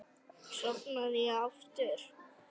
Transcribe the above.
Sofnaði ég aftur?